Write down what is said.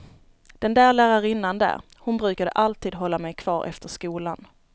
Den där lärarinnan där, hon brukade alltid hålla mig kvar efter skolan.